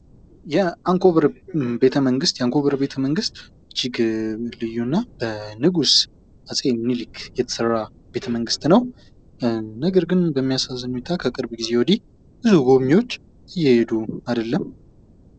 የአንኮበር ቤተመንግስት፦ የአንኮበር ቤተመንግስት እጅግ ልዩ እና በንጉስ አፄ ሚኒሊክ የተሰራ ቤተመንግስት ነው ። ነገር ግን በሚያሳዝን ሁኔታ ከቅርብ ጊዜ ወዲህ ብዙ ጎብኝዎች እየሄዱ አይደለም ።